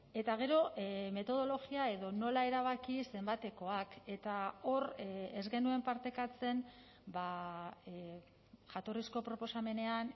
eta gero metodologia edo nola erabaki zenbatekoak eta hor ez genuen partekatzen jatorrizko proposamenean